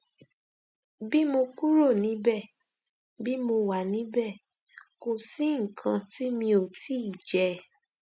bí mo kúrò níbẹ bí mo wà níbẹ kò sí nǹkan tí mi ò tí ì jẹ